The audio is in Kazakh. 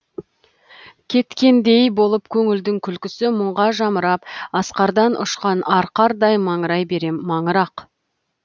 кеткендей болып көңілдің күлкісі мұңға жамырап асқардан ұшқан арқардай маңырай берем маңырақ